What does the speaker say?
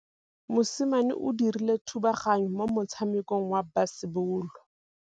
Mosimane o dirile thubaganyô mo motshamekong wa basebôlô.